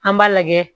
An b'a lajɛ